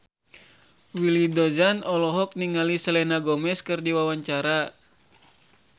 Willy Dozan olohok ningali Selena Gomez keur diwawancara